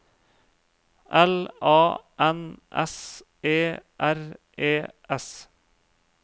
L A N S E R E S